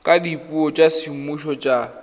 ka dipuo tsa semmuso tsa